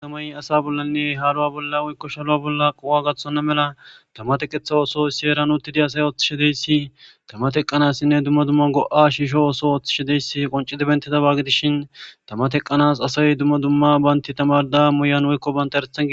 ama7y asa bollanne haaluwa bolla woykko shaluwa bolla qowa gathonna mela tamateqetha ooso sheeran uutidi asay ooththishedeyssi tama teqqanassinne dumma dumma go7a shiisho ooso ooththishedeyssi qoncidebentetabaagidishin tama teqqanas asay dumma dumma baynti tamarda moyan woykko banta herethan gi